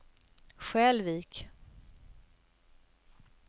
Skälvik